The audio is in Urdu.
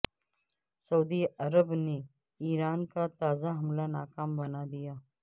سعودی عرب نے ایران کا تازہ حملہ ناکام بنا دیا